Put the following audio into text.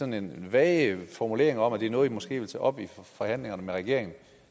nogle vage formuleringer om at det er noget man måske vil tage op i forhandlingerne med regeringen